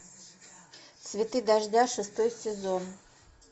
цветы дождя шестой сезон